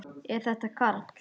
Er þetta Karl?